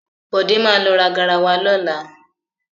Bọ̀dé má lọ ra garawa lọ́la.